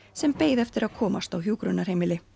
sem beið eftir að komast á hjúkrunarheimili